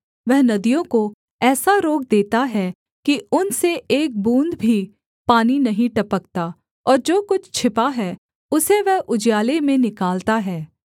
वह नदियों को ऐसा रोक देता है कि उनसे एक बूँद भी पानी नहीं टपकता और जो कुछ छिपा है उसे वह उजियाले में निकालता है